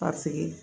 Ka sigi